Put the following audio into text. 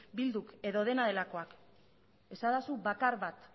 bilduk edo dena delakoak esadazu bakar bat